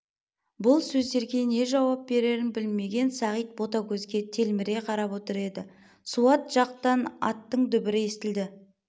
бұл сөздерге не жауап берерін білмеген сағит ботагөзге телміре қарап отыр еді суат жақтан аттың дүбірі естілді